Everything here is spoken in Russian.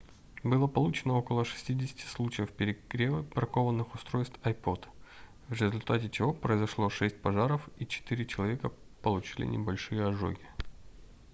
было получено около 60 случаев перегрева бракованных устройств ipod в результате чего произошло шесть пожаров и четыре человека получили небольшие ожоги